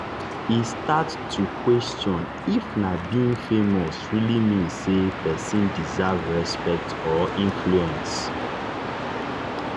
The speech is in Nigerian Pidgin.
e start to to question if na being famous really mean say person deserve respect or influence.